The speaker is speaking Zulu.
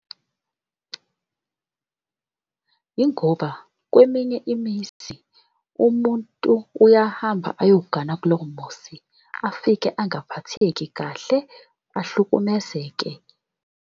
Yingoba kweminye imizi umuntu uyahamba ayogana kulowo muzi afike angaphatheki kahle, ahlukumezeke.